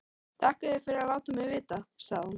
Þakka þér fyrir að láta mig vita, sagði hún.